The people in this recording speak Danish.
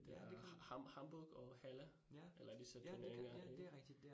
Det er Hamburg og Halle eller disse 2 baner ik